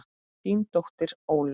Þín dóttir Ólöf.